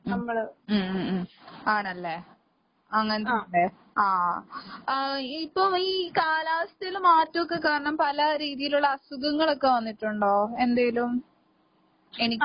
ഉം ഉം ഉം ഉം. ആണല്ലേ. അങ്ങനെത്തെയിണ്ട്. ആഹ് ആഹ് ഇപ്പൊ ഈ കാലാവസ്ഥേല് മാറ്റോക്കെക്കാരണം പല രീതീലൊള്ള അസുഖങ്ങളൊക്കെ വന്നിട്ടൊണ്ടോ എന്തേലും? എനിക്ക്